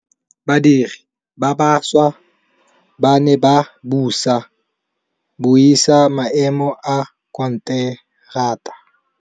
Badiri ba baša ba ne ba buisa maêmô a konteraka.